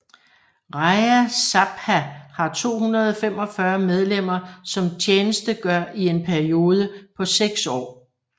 Rajya Sabha har 245 medlemmer som tjenestegør i en periode på 6 år